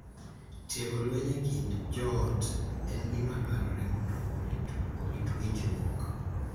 Tieko lweny e kind joot en gima dwarore mondo orit winjruok